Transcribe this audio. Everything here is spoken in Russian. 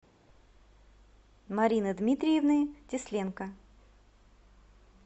марины дмитриевны тесленко